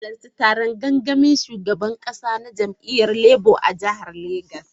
Na halarci taron gangamin shugaban kasa na jam’iyyar Labour a jihar Legas.